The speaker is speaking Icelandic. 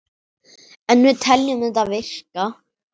En við teljum þetta virka.